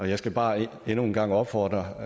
jeg skal bare endnu en gang opfordre